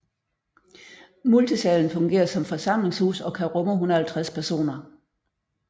Multisalen fungerer som forsamlingshus og kan rumme 150 personer